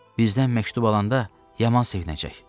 Bizdən məktub alanda yaman sevinəcək.